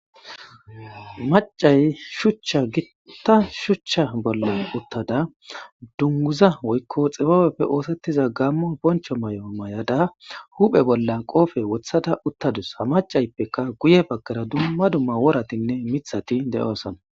Macay shuchcha gitta shuchcha bolla uttada dunguza woykko xibabeppe oosettiza gammo boncho may'o may'ada huphe bolla qoofe wothada uttadus ha macayppeka guye baggara dumma dumma wooratinne mithati de'oosana.